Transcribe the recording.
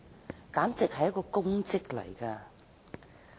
這簡直是一項功績。